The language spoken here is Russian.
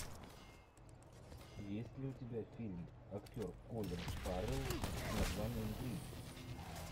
есть ли у тебя фильм актер колин фаррелл с названием грин